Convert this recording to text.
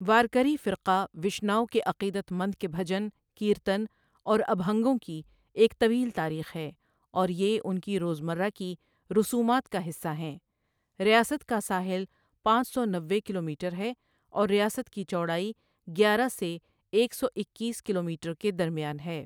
وارکری فرقہ وشناو کے عقیدت مند کے بھجن، کیرتن اور ابہنگوں کی ایک طویل تاریخ ہے اور یہ ان کی روزمرہ کی رسومات کا حصہ ہیں ریاست کا ساحل پانچ سو نوے کلومیٹر ہے اور ریاست کی چوڑائی گیارہ سے ایک سو اکیس کلومیٹر کے درمیان ہے۔